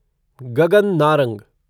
Gagan Narang